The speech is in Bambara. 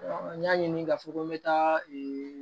n y'a ɲini k'a fɔ ko n bɛ taa